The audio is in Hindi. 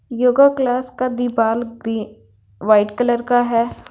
यूगा क्लास का दिवाल ग्री वाइट कलर का हैं।